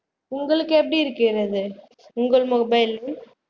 உங்களுக்கு எப்படியிருக்கிறது உங்கள் mobile இல்